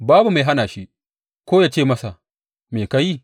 Babu mai hana shi ko yă ce masa; Me ka yi?